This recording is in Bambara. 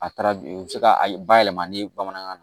A taara o bɛ se ka a bayɛlɛma ni bamanankan na